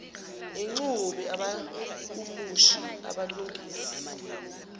ixube abahumushi abalungisa